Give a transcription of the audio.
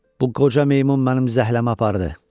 Bu qoca meymun mənim zəhləmi apardı.